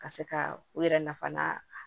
Ka se ka u yɛrɛ nafa